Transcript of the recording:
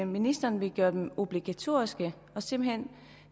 ministeren ville gøre dem obligatoriske og simpelt hen